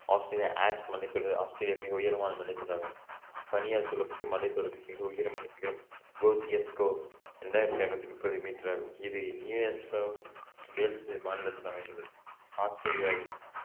Australia Alps மலைத்தொடர் Australia மிக உயரமான மலைத்தொடர் ஆகும் பனியால் சூழப்பட்டு மலைத்தொடரின் மிக உயரமான சிகரம் கோசியஸ்கோ இரண்டாயிரத்தி ஐநூத்தி முப்பது மீட்டர் ஆகும் இது நியூசவுத் வேல்ஸ் மாநிலத்தில் ஆஸ்திரேலியாவின்